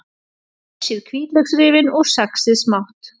Flysjið hvítlauksrifin og saxið smátt.